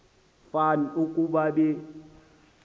fan ukuba be